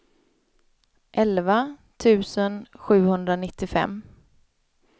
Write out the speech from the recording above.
elva tusen sjuhundranittiofem